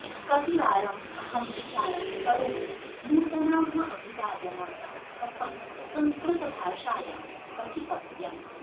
कतिवारं अहं विचारं करोमि नूतनाः अभिवादनाः कथं संस्कृतभाषायां कथितव्यम्